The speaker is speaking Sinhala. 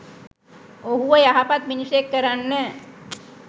ඔහුව යහපත් මිනිසෙක් කරන්න